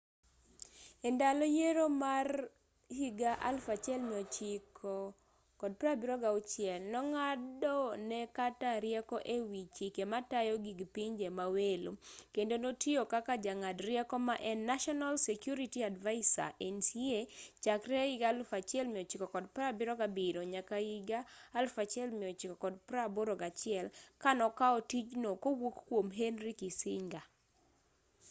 e ndalo yiero ma 1976 nong'ado ne carter rieko e wi chike matayo gig pinje ma welo kendo notiyo kaka jang'ad rieko ma en national security advisor nsa chakre 1977 nyaka 1981 ka nokao tijno kowuok kwom henry kissinger